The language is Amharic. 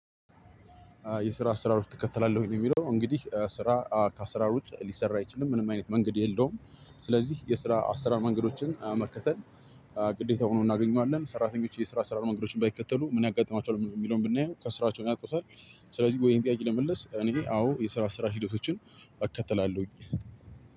የስራ አሰራሮች ትከተላለህ? ወይ ነው የሚለው እንግዲህ ስራ ከአስራር ውጭ ሊሰራ አይችልም ምንም አይነት መንገድ የለውም። ስለዚህ የስራ አሰራር መንገዶችን መከተል ግዴታ ሆኖ እናገኘዋለን። ሰራተኞች የስራ አሰራር መንገዶችን ባይከተሉ ምን? ያጋጥማቸዋል የሚለውን ብናየው ከስራቸውም ያጡታል። ስለዚህ ያሄን ጥያቄ ለመመለስ እኔ አዎ የስራ አሰራር ሂደቶችን እከተላለሁኝ።